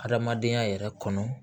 Adamadenya yɛrɛ kɔnɔ